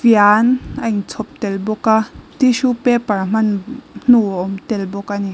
fian a in chhawp tel bawk a tissue paper hman hnu a awm tel bawk a ni.